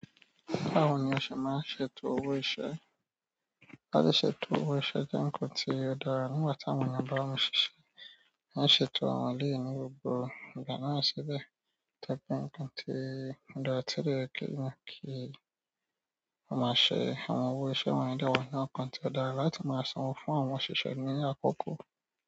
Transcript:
Báwo ni a ṣe máa ń ṣètò owó iṣẹ́? Láti ṣètò owó iṣẹ́ jẹ nnkán tí ó dára nígbà tí àwọn èèyàn ba mi ṣíṣe. Ma ṣètò àwọn eléyìí ní gbogbo ìgbà náà síbẹ̀, tó jẹ pé nǹkan tí ó dára tí o de yẹ ki èèyàn ki o máa ṣe àwọn owó iṣẹ́ wọnyii de wa inú àwọn nǹkan tí ó dára láti máa sanwó fún àwọn òṣìṣẹ́ ní àkókò.